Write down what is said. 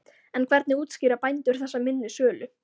En hvernig útskýra bændur þessa minni sölu?